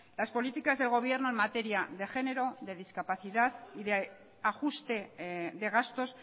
las políticas del gobierno en materia de género discapacidad y de ajuste de gastos